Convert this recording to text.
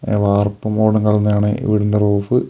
ങ വാർപ്പ് മോഡൽ ഈ വീടിൻ്റെ റൂഫ് .